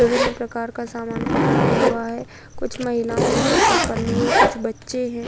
विभिन्न प्रकार के सामान पकड़ा हुआ है। कुछ महिलाओं की सिर पर पल्लू है। कुछ बच्चे हैं।